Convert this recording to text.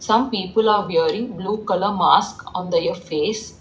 Some people are wearing blue colour mask on their face.